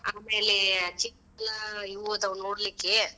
ಆಮ್ಯಾಲೆ ಚಿಕ್ ಇವು ಅದಾವು ನೋಡ್ಲಿಕ್ಕೆ.